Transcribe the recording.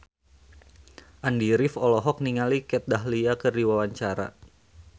Andy rif olohok ningali Kat Dahlia keur diwawancara